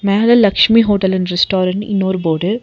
மேல Lakshmi hotel and restaurant இன்னொரு board .